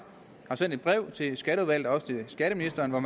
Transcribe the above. har sendt et brev til skatteudvalget og skatteministeren hvor